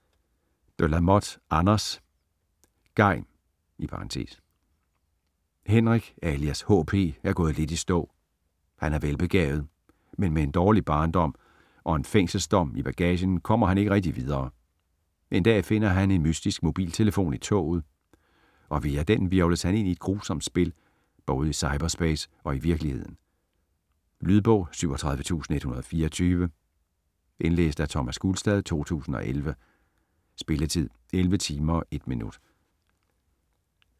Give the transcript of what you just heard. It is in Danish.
De la Motte, Anders: (Geim) Henrik alias HP er gået lidt i stå. Han er velbegavet, men med en dårlig barndom og en fængselsdom i bagagen kommer han ikke rigtig videre. En dag finder han en mystisk mobiltelefon i toget, og via den hvirvles han ind i et grusomt spil både i cyberspace og i virkeligheden. Lydbog 37124 Indlæst af Thomas Gulstad, 2011. Spilletid: 11 timer, 1 minutter.